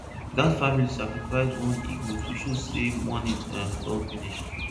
that family sacrifice one hegoat to show say mourning um don finish